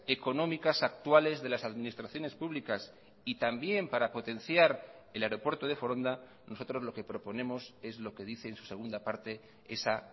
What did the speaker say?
económicas actuales de las administraciones públicas y también para potenciar el aeropuerto de foronda nosotros lo que proponemos es lo que dice en su segunda parte esa